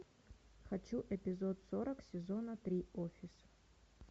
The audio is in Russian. хочу эпизод сорок сезона три офис